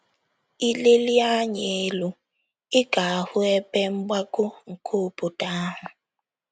I lelie anya elu, ị ga - ahụ ebe mgbago nke obodo ahụ.